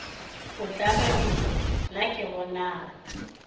o tlabegile na ke bonang